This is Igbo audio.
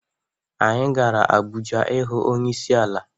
Anyi gara Abuja ihu onyeisi ala.